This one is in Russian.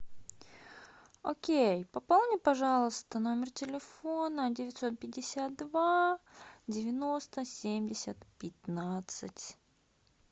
окей пополни пожалуйста номер телефона девятьсот пятьдесят два девяносто семьдесят пятнадцать